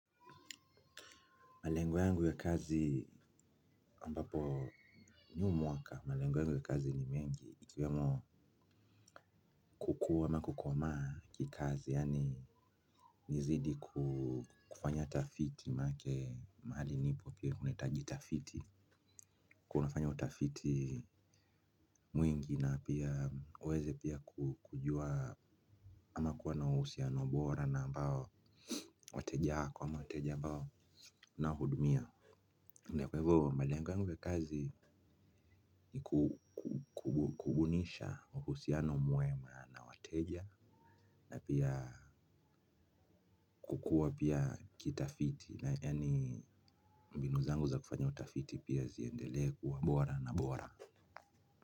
Malengo yangu ya kazi ambapo huu mwaka malengo yangu ya kazi ni mengi ikiwemo kukua ama kukoma kikazi yaani nizidi kufanya tafiti manake mahali nipo pia kunahitaji tafiti. Kunafanya utafiti mwingi na pia niweze pia kujua ama kuwa na uhusiano bora na ambao wateja hako ama wateja ambao ninao hudumia ndio kwa hivyo malengo yangu ya kazi ni kudunisha uhusiano mwema na wateja na pia kukua pia kitafiti na yani mbinu zangu za kufanya utafiti pia ziendelee wa bora na bora.